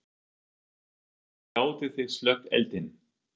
Höskuldur: Hvernig gátið þið slökkt eldinn?